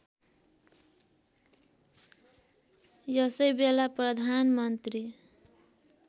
यसै बेला प्रधानमन्त्री